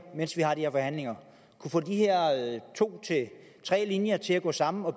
mens vi har de her forhandlinger få de to tre linjer til at gå sammen og